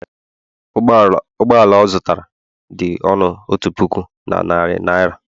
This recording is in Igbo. ụgbọ ala ọ zụtara dị ọnụ otu puku, na narị naira